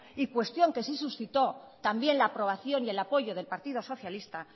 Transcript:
y cuestión que sí suscitó también la aprobación y el apoyo del partido socialista